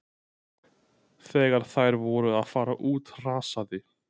Þegar þær voru að fara út hrasaði